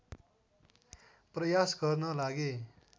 प्रयास गर्न लागे